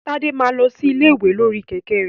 Tade máa lọ sí ilé ìwé lórí kẹ̀kẹ́ rẹ̀.